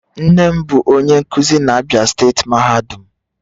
Nne m bu onye nkuzi na Abia steeti mahadum